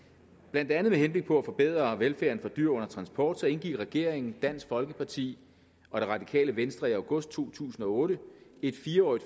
blandt andet med henblik på at forbedre velfærden for dyr under transport indgik regeringen dansk folkeparti og det radikale venstre i august to tusind og otte et fire årig